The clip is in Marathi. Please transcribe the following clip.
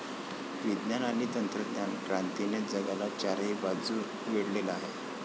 विज्ञान आणि तंत्रज्ञान क्रांतीने जगाला चारही बाजूने वेढलेले आहे.